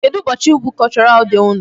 Kedụ ụbọchị bụ Cultural day unu?